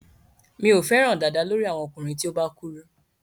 Mi ò fẹ́ràn dàda lórí àwọn ọkùnrin tí ó bá kúrú.